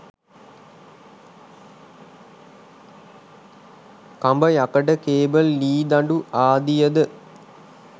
කඹ යකඩ කේබල් ලී දඬු ආදියද